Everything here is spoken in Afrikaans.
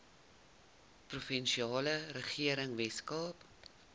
provinsiale regering weskaap